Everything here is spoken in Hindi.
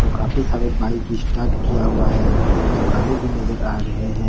काफी सारे बाइक स्टार्ट किया हुआ है कुछ दुकानें भी नजर आ रहे हैं।